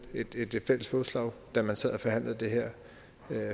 et fælles fodslag da man sad og forhandlede det her